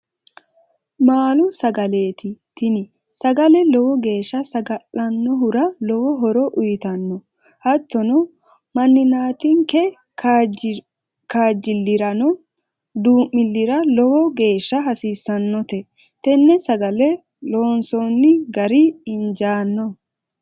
Maalu sagaleti tini sagale lowo geesha saga'lanohura lowo horo uyitanno, hattono maninatinke kaajjiliranno dumilira lowo geesha hasisanotte tene sagale loonsonni gari injaano